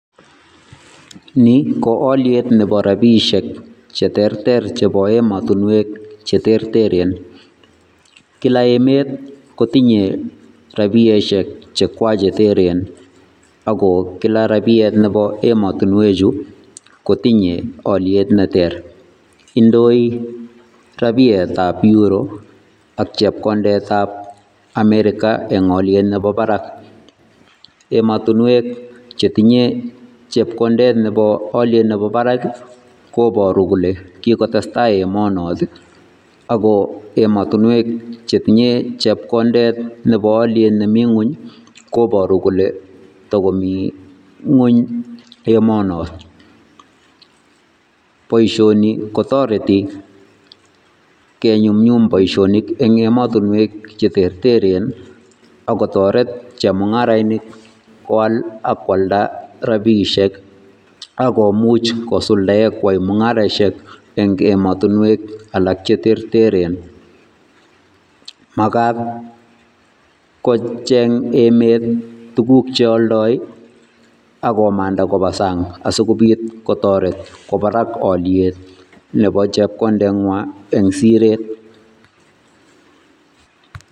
Ni ko alyet nebo rabiisiek che terter chebo emotinwek che terteren, kila emet kotinye rabiesiek chekwa che teren, ako kila rabiet nebo emotinwechu kotinye alyet ne ter, indoi rabietab Euro ak chepkondetab Amerika eng alyet nebo barak, emotinwek chetinye chepkondet nebo alyet nebo barak ii, koboru kole kikotestai emonot ii ako emotinwek che tinye chepkondet nebo alyet nemi nguny ii, koboru kole takomi nguny emonot. Boisioni kotoreti kenyumnyum boisionik eng emotinwek che terteren ii, ako toret chemungarainik koal ak kwalda rabiisiek ak komuch kosuldae kwai mungaresiek eng ematunwek alak che terteren, makat kocheng emet tuguk che aldoi ak komanda koba sang asikobit kotoret kwo barak alyet nebo chepkondengwa eng siret.